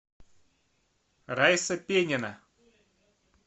райса пенина